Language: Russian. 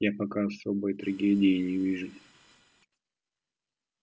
я пока особой трагедии не вижу